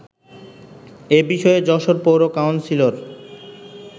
এ বিষয়ে যশোর পৌর কাউন্সিলর